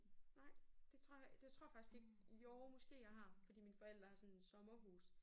Nej det tror jeg det tror jeg faktisk ikke jo måske jeg har fordi mine forældre har sådan et sommerhus